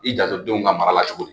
I janto denw ka mara la cogo di